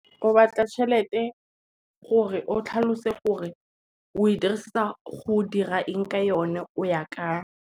O batla tšhelete o tlhalose gore o e dirisetsa go dira eng ka yone, o ya kae.